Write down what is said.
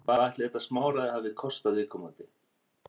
Hvað ætli þetta smáræði hafi kostað viðkomandi?